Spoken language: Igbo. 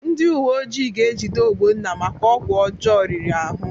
Ndị uweojii ga-ejide Ogbonna maka ọgwụ ọjọọ riri ahụ.